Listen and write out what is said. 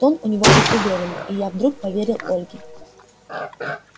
тон у нее был уверенный и я вдруг поверил ольге